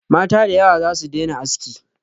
Mata da yawa za su daina aski.